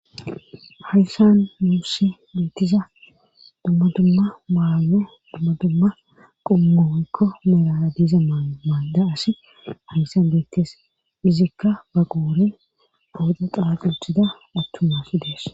Hayssan muussi meettiza dummadumma maalo dummadumma qummooykko merara diiza maalda asi hayssan beettes izikka ba qooren awoda xaaquthida attumasi dees.